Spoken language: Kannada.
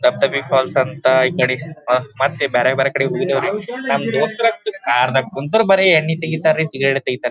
ಡಬಡಾಬಿ ಫಾಲ್ಸ್ ಅಂತ ಈ ಕಡೆ ಮತ್ತ್ ಬ್ಯಾರೆ ಬ್ಯಾರೆ ಕಡೆಗ್ ಹೋಗಿದ್ದಿವಿ ರೀ ನಮ್ಮ್ ದೋಸ್ತಿರ್ ಕಾರ್ ಕುಂತ್ರ ಬರೆ ಎಣ್ಣೆ ತೆಗಿತಾರ್ ರೀ ಸಿಗರೆಟ ತೆಗಿತಾರ ರೀ --